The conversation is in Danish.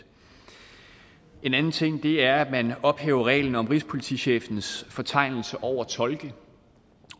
en anden ting er at man ophæver reglen om rigspolitichefens fortegnelse over tolke